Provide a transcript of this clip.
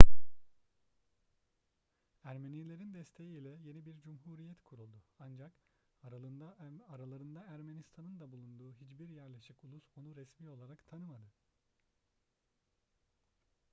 ermenilerin desteği ile yeni bir cumhuriyet kuruldu ancak aralarında ermistan'ın da bulunduğu hiçbir yerleşik ulus onu resmi olarak tanımadı